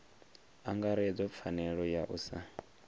angaredzwa pfanelo ya u sa